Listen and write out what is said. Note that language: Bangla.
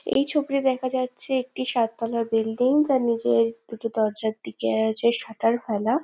এই ছবিটিতে দেখা যাচ্ছে একটি সাততালা বিল্ডিং যার নীচে দুটির দরজার দিকে আছে শাটার ফেলা।